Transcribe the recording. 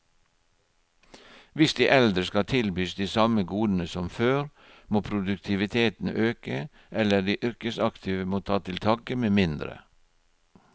Hvis de eldre skal tilbys de samme godene som før, må produktiviteten øke, eller de yrkesaktive må ta til takke med mindre.